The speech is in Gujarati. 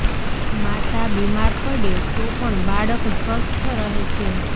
માતા બીમાર પડે તો પણ બાળક સ્વસ્થ રહે છેઃ